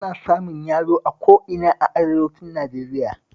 Ana samun yalo a ko ina a arewacin Najeriya